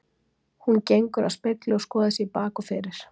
Smokkfiskur af tegundinni